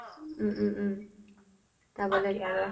উম উম উম যাব লাগিব